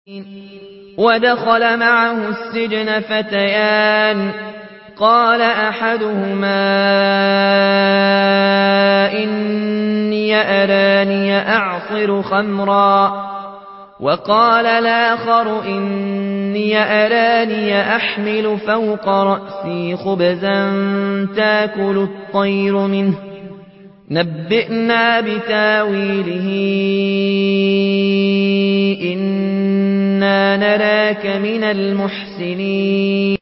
وَدَخَلَ مَعَهُ السِّجْنَ فَتَيَانِ ۖ قَالَ أَحَدُهُمَا إِنِّي أَرَانِي أَعْصِرُ خَمْرًا ۖ وَقَالَ الْآخَرُ إِنِّي أَرَانِي أَحْمِلُ فَوْقَ رَأْسِي خُبْزًا تَأْكُلُ الطَّيْرُ مِنْهُ ۖ نَبِّئْنَا بِتَأْوِيلِهِ ۖ إِنَّا نَرَاكَ مِنَ الْمُحْسِنِينَ